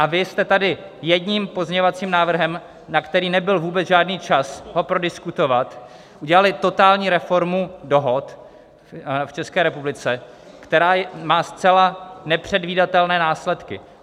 A vy jste tady jedním pozměňovacím návrhem, na který nebyl vůbec žádný čas ho prodiskutovat, udělali totální reformu dohod v České republice, která má zcela nepředvídatelné následky.